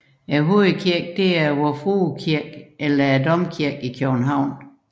Hovedkirken er Vor Frue Kirke eller Domkirken i København